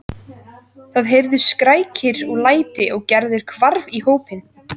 Það heyrðust skrækir og læti og Gerður hvarf í hópinn.